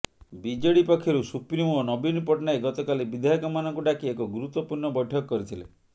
BJD ପକ୍ଷରୁ supremo ନବୀନ ପଟ୍ଟନାୟକ ଗତକାଲି ବିଧାୟକ ମାନଙ୍କୁ ଡାକି ଏକ ଗୁରୁତ୍ୱପୁର୍ଣ୍ଣ ବୈଠକ କରିଥିଲେ